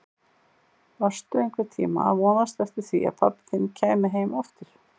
Varstu einhvern tíma að vonast eftir því að pabbi þinn kæmi heim aftur?